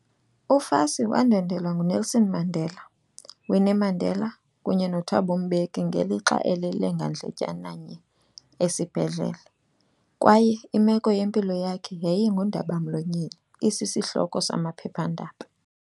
UFassie wandwendwelwa nguNelson Mandela, Winnie Mandela, kunye noThabo Mbeki ngelixa elele ngandletyana nye esibhedlele, kwaye imeko yempilo yakhe yayingundaba-mlonyeni isishloko samaphepha-ndaba.